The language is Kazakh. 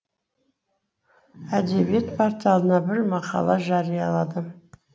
әдебиет порталына бір мақала жарияладым